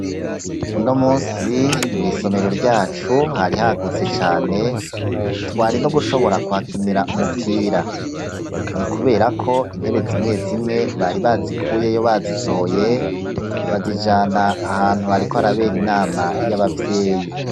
Uno munsi mw'isomero ryacu hari hagutse cane, twari no gushobora kuhakinira umupira. Ni kubera ko intebe zimwe zimwe bari bazikuyeyo bazisohoye bazijana ahantu hariko harabera inama y'abavyeyi.